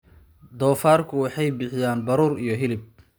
Doofaarku waxay bixiyaan baruur iyo hilib.